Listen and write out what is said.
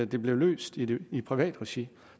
det blev løst i i privat regi